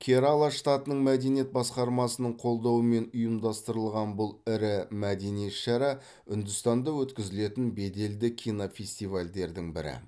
керала штатының мәдениет басқармасының қолдауымен ұйымдастырылған бұл ірі мәдени іс шара үндістанда өткізілетін беделді кинофестивальдердің бірі